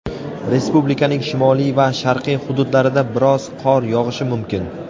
Respublikaning shimoliy va sharqiy hududlarida biroz qor yog‘ishi mumkin.